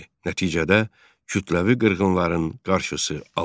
Nəticədə kütləvi qırğınların qarşısı alındı.